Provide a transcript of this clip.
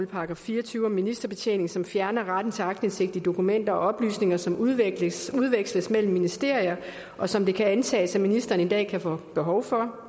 § fire og tyve om ministerbetjening som fjerner retten til aktindsigt i dokumenter og oplysninger som udveksles udveksles mellem ministerier og som det kan antages at ministeren en dag kan få behov for